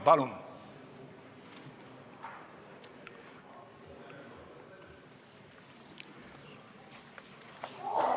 Palun!